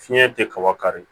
Fiɲɛ tɛ kaba kari